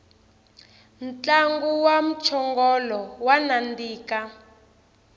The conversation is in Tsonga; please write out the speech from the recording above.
ntlangu wa mchongolo wa nandika